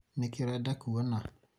nĩkĩĩ ũreda kũona?